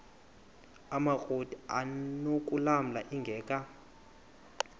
amakrot anokulamla ingeka